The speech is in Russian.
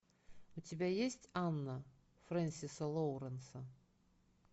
у тебя есть анна френсиса лоуренса